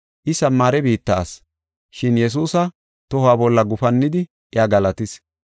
I, Samaare biitta asi, shin Yesuusa toho bolla gufannidi iya galatis.